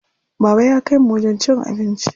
Baba ya kaimu wajen cin abinci.